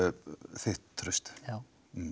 þitt traust já